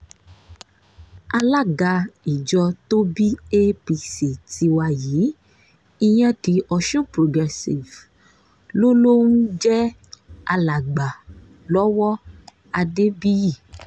alága ìjọ tó bí apc tiwa yìí ìyẹn the ọ̀sun progressives ló ló ń jẹ́ alàgbà lọ́wọ́ adébíyì